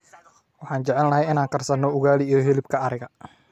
Waxaan jecelnahay inaan karsano ugali iyo hilibka ariga.